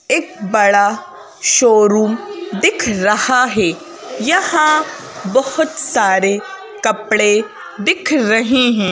एक बड़ा शोरूम दिख रहा है यहाँ बहुत सारे कपड़े दिख रही है।